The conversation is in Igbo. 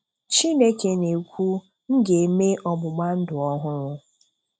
Chineke na-ekwu, "M ga-eme ọgbụgba ndụ ọhụrụ."